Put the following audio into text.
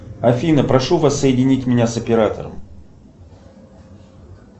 афина прошу вас соединить меня с оператором